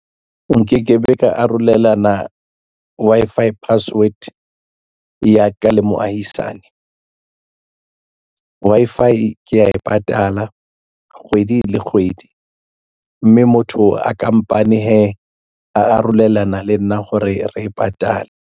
Nke ke be ka arolelana Wi-Fi password ya ka le moahisane Wi-Fi ke ya e patala kgwedi le kgwedi mme motho a kampane hee a arolelana le nna hore re e patale.